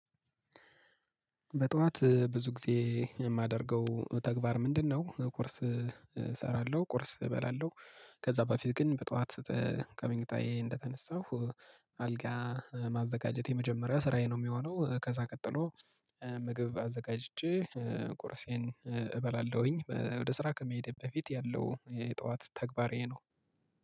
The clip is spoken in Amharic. በጧት ብዙ ጊዜ የማደርገው ተግባር ምንድነው? ቁርስ እሰራለሁ ቁርስ እበላለሁ ከዛ በፊት ግን በጧት ተ ከመኝታዬ እንደተነሳሁ አልጋ ማዘጋጀት የመጀመሪያ ስራዬ ነው የሚሆነው ከዛ ቀጥሎ ምግብ አዘጋጅቼ ቁርሴን እበላለሁኝ ወደ ስራ ከመሄዴ በፊት ያለው የጠዋት ተግባሬ ይሄ ነው።